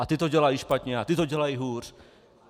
A ti to dělají špatně a ti to dělají hůř!